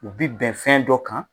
U bi bɛn fɛn dɔ kan.